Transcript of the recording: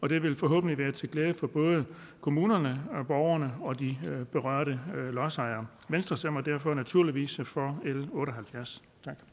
det vil forhåbentlig være til glæde for både kommunerne og borgerne og de berørte lodsejere venstre stemmer derfor naturligvis for l otte og halvfjerds